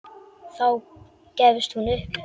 Þá gefst hún upp.